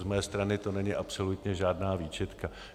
Z mé strany to není absolutně žádná výčitka.